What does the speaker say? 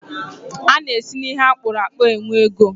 A na-esi n'ihe akpụrụ akpu e nwee ego.